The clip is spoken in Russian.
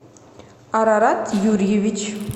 арарат юрьевич